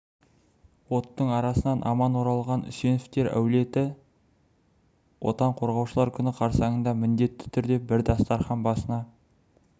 оттың арасынан аман оралған үсеновтер әулеті отан қорғаушылар күні қарсаңында міндетті түрде бір дастархан басына